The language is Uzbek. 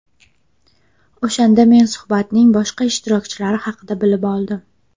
O‘shanda men suhbatning boshqa ishtirokchilari haqida bilib oldim”.